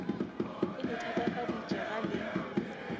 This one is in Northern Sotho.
e le thatafaditše ga le